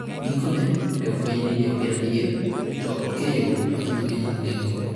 Gikone, ne ofweny ni ne ok en adier - to ok e yo ma ji mang'eny ong'eyogo.